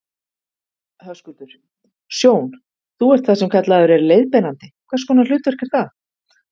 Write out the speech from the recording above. Höskuldur: Sjón, þú ert það sem kallaður er leiðbeinandi, hvers konar hlutverk er það?